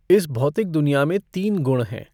इस भौतिक दुनिया में तीन गुण हैं।